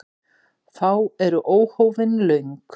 Fá eru óhófin löng.